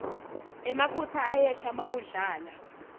emafutsa ayehla mawudlala